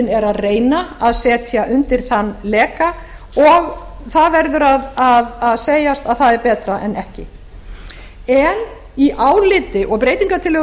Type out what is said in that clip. er að reyna að setja undir þann leka og það verður að segjast að það er betra en ekki en í áliti og breytingartillögum